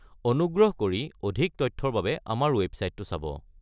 অনুগ্ৰহ কৰি অধিক তথ্যৰ বাবে আমাৰ ৱেবচাইটটো চাব।